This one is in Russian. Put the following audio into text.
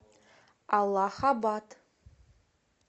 аллахабад